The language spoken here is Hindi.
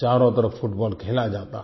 चारो तरफ़ फुटबॉल खेला जाता हो